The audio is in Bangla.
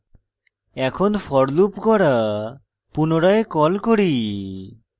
এখন for loop গড়া পুনরায় কল করি